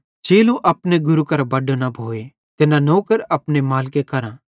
चेलो अपने गुरू करां बड्डो न भोए ते न नौकर अपने मालिके करां